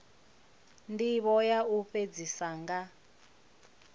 ndivho ya u fhedzisa nga